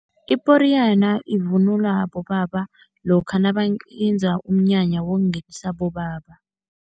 Iporiyana ivunulwa bobaba lokha nabayenza umnyanya wokungenisa abobaba.